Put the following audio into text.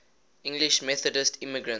english methodist immigrants